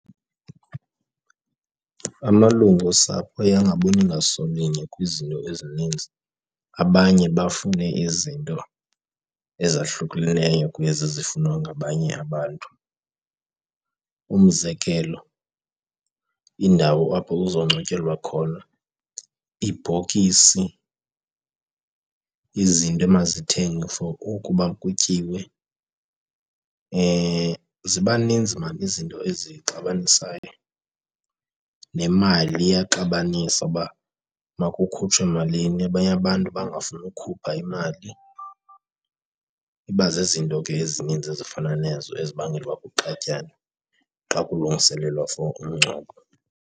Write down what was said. Amalungu osapho aye angaboni ngasolinye kwizinto ezininzi, abanye bafune izinto ezahlukeneyo kwezi zifunwa ngabanye abantu. Umzekelo, indawo apho kuzongcwatyelwa khona, ibhokisi, izinto emazithengwe for ukuba kutyiwe, ziba ninzi mani izinto ezixabanisayo. Nemali iyaxabanisa, uba makukhutshwe malini, abanye abantu bangafuni ukhupha imali. Iba zizinto ke ezininzi ezifana nezo ezibangela uba kuxatyanwe xa kulungiselelwa for umngcwabo.